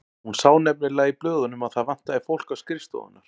Hún sá nefnilega í blöðunum að það vantaði fólk á skrifstofurnar.